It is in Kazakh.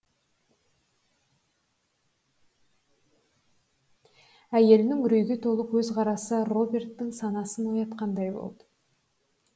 әйелінің үрейге толы көзқарасы роберттің санасын оятқандай болды